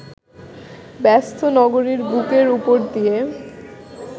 ব্যস্ত নগরীর বুকের উপর দিয়ে